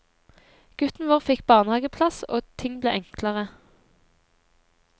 Gutten vår fikk barnehageplass og ting ble enklere.